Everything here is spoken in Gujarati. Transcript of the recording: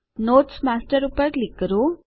નોટ્સ માસ્ટર પર ક્લિક કરો